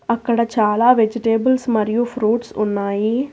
అక్కడ చాలా వెజిటేబుల్స్ మరియు ఫ్రూట్స్ ఉన్నాయి.